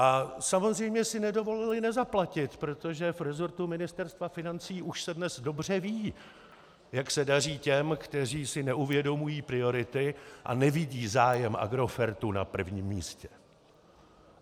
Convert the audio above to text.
A samozřejmě si nedovolili nezaplatit, protože v resortu Ministerstva financí už se dnes dobře ví, jak se daří těm, kteří si neuvědomují priority a nevidí zájem Agrofertu na prvním místě.